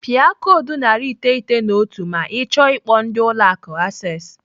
Pịa koodu narị iteghete na otu ma ọ chọọ ikpo ndị Ụlọ Akụ Access.